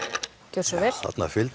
gjörðu svo vel